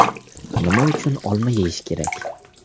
Nima uchun olma yeyish kerak?.